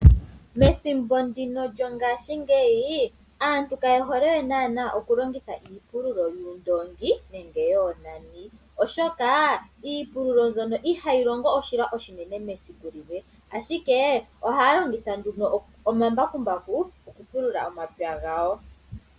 Methimbo ndino lyongaashingeyi aantu kaye hole we naana okulongitha iipululo yuundongi nenge yoonani oshoka iipululo mbyono ihayi longo oshilwa oshinine mesiku limwe ashike ohaya longitha nduno omambakumbaku okupulula omapya gawo.